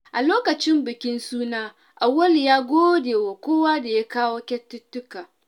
A lokacin bukin suna, Auwalu ya gode wa kowa da ya kawo kyaututtuka.